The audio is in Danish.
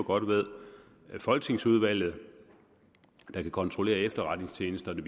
godt ved folketingsudvalget der kan kontrollere efterretningstjenesterne